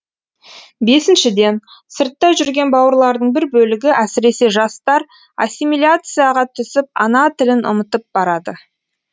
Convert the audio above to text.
бесіншіден сыртта жүрген бауырлардың бір бөлігі әсіресе жастар ассимиляцияға түсіп ана тілін ұмытып барады